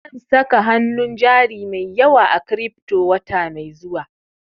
Zan saka hanun jari mai yawa a kiripto wata mai zuwa